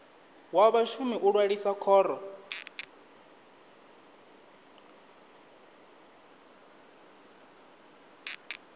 wa vhashumi u ṅwalisa khoro